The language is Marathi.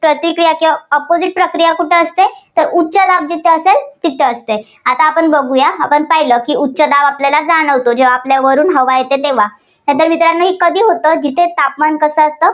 प्रक्रिया किंवा opposite प्रक्रिया कुठे असते तर उच्चदाब जिथे असेल तिथे असते. आता आपण बघुया. आपण पाहिलं की उच्चदाब आपल्याला जाणवतो. जेव्हा आपल्या वरून हवा येते तेव्हा. तर मित्रांनो हे कधी होतं, जिथं तापमान कसं असतं.